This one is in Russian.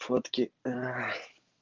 фотки